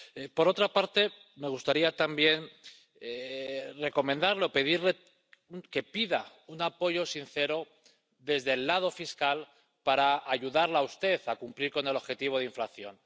Por otra parte, me gustaría también recomendarle o pedirle que pida un apoyo sincero desde el lado fiscal para ayudarla a usted a cumplir con el objetivo de inflación.